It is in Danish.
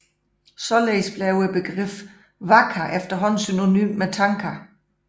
Således blev begrebet waka efterhånden synonymt med tanka